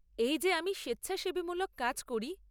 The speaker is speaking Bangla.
এই যে, আমি স্বেচ্ছাসেবীমূলক কাজ করি।